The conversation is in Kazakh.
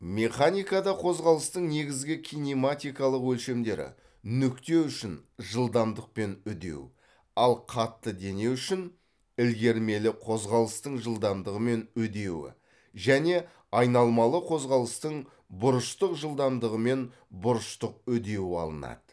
механикада қозғалыстың негізгі кинематикалық өлшемдері нүкте үшін жылдамдық пен үдеу ал қатты дене үшін ілгермелі қозғалыстың жылдамдығы мен үдеуі және айналмалы қозғалыстың бұрыштық жылдамдығы мен бұрыштық үдеуі алынады